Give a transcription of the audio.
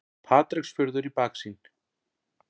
Patreksfjörður í baksýn.